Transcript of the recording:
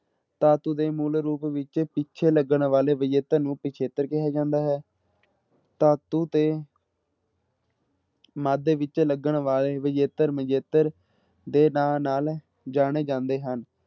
ਧਾਤੂ ਦੇ ਮੂਲ ਰੂਪ ਵਿੱਚ ਪਿੱਛੇ ਲੱਗਣ ਵਾਲੇ ਵਿਜੇਤਰ ਨੂੰ ਪਿੱਛੇਤਰ ਕਿਹਾ ਜਾਂਦਾ ਹੈ ਧਾਤੂ ਦੇ ਮੱਧ ਵਿੱਚ ਲੱਗਣ ਵਾਲੇ ਵਿਜੇਤਰ ਮਜੇਤਰ ਦੇ ਨਾਂ ਨਾਲ ਜਾਣੇ ਜਾਂਦੇ ਹਨ।